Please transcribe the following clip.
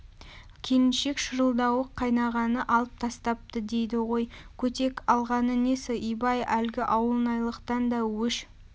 келіншек шырылдауық қайнағаны алып тастапты дейді ғой көтек алғаны несі ибай әлгі ауылнайлықтан да өш